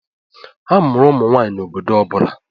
A mụrụ ụmụ nwanyị na obodo ọ bụla